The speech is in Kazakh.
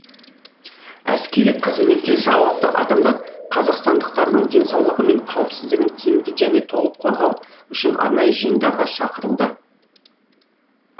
әскери қызметке жауапты адамдар қазақстандықтардың денсаулығы мен қауіпсіздігін тиімді және толық қорғау үшін арнайы жиындарға шақырылды